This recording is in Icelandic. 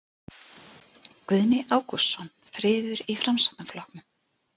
Guðni Ágústsson: Friður í Framsóknarflokknum?